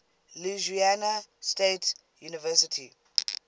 louisiana state university